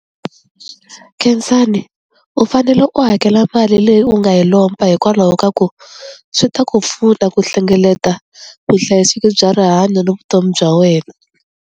Khensani u fanele u hakela mali leyi u nga yi lomba hikwalaho ka ku swi ta ku pfuna ku hlengeleta vuhlayiseki bya rihanyo ni vutomi bya wena.